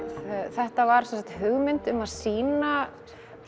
þetta var hugmynd um að sýna